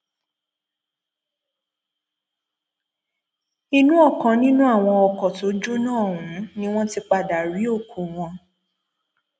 inú ọkàn nínú àwọn ọkọ tó jóná ọhún ni wọn ti padà rí òkú wọn